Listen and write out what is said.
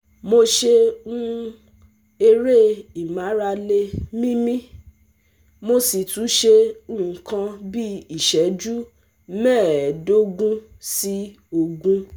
Mo ṣe um eré ìmárale míímí, mo sì tún ṣe nǹkan bí iṣẹju mẹ́ẹ̀ẹ́dógún sí ogún